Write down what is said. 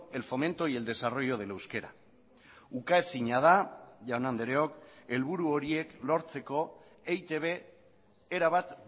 el fomento y el desarrollo del euskera ukaezina da jaun andreok helburu horiek lortzeko eitb erabat